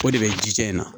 O de bɛ ji jɛ in na